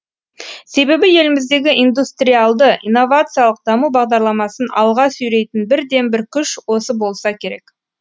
себебі еліміздегі индустриалды инновациялық даму бағдарламасын алға сүйрейтін бірден бір күш осы болса керек